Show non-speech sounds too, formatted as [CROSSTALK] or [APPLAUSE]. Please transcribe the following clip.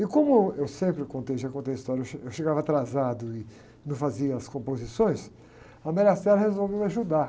E como eu, eu sempre, contei, já contei a história, eu che, eu chegava atrasado e não fazia as composições, a [UNINTELLIGIBLE] resolveu me ajudar.